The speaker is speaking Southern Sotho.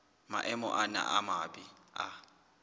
maemo ana a mabe a